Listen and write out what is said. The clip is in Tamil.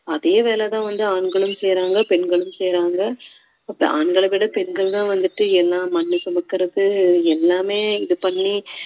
அதே வேலை தான் வந்து ஆண்களும் செய்றாங்க பெண்களும் செய்றாங்க ஆண்களை விட பெண்கள்தான் வந்துட்டு எல்லாம் மண் சுமக்குறது எல்லாமே இது பண்ணி